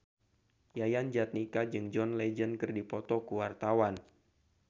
Yayan Jatnika jeung John Legend keur dipoto ku wartawan